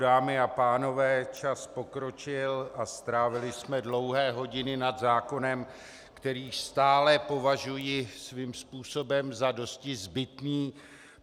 Dámy a pánové, čas pokročil a strávili jsme dlouhé hodiny nad zákonem, který stále považuji svým způsobem za dosti zbytný.